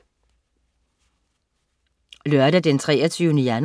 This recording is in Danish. Lørdag den 23. januar